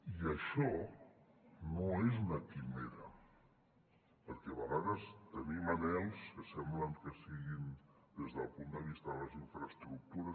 i això no és una quimera perquè a vegades tenim anhels que sembla que siguin des del punt de vista de les infraestructures